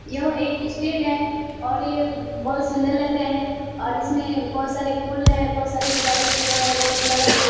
यह एक स्‍टेट है और ये बहुत सुन्‍दर लग रहें हैं और इसमें बहुत सारे फूल है बहुत सारे सजावट किए हुए है बहुत कलरों से।